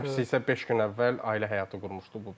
Həmçinsi isə beş gün əvvəl ailə həyatı qurmuşdu.